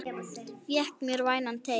Fékk mér vænan teyg.